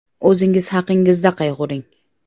O‘zingiz haqingizda qayg‘uring.